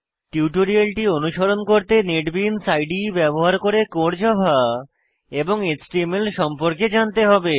টিউটোরিয়ালটি অনুসরণ করতে নেটবিনস ইদে ব্যবহার করে কোর জাভা এবং এচটিএমএল সম্পর্কে জানতে হবে